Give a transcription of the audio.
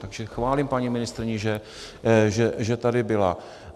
Takže chválím paní ministryni, že tady byla.